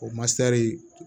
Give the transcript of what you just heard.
O masari